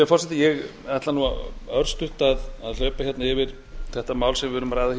forseti ég ætla örstutt að hlaupa hérna yfir þetta mál sem við